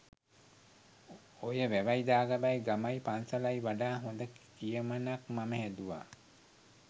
ඔය “වැවයි දාගබයි ගමයි පන්සලයි” වඩා හොඳ කියමනක් මම හැදුවා.